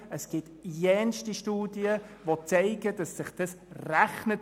Es gibt zahlreiche Studien, die belegen, dass sich das rechnet.